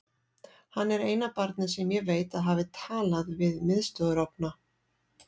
Hann er eina barnið sem ég veit að hafi talað við miðstöðvarofna.